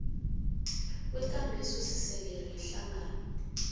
kwekambiso esisekelo yehlangano